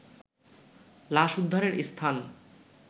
লাশ উদ্ধারের স্থান